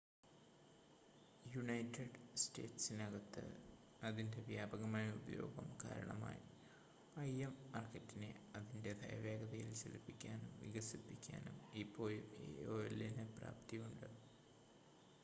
United സ്റ്റേറ്റ്സിനകത്ത് അതിൻ്റെ വ്യാപകമായ ഉപയോഗം കാരണമായി im മാർക്കറ്റിനെ അതിൻ്റേതായ വേഗതയിൽ ചലിപ്പിക്കാനും വികസിപ്പിക്കാനും ഇപ്പോഴും aol ന് പ്രാപ്തിയുണ്ട്